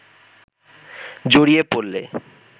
জড়িয়ে পড়লে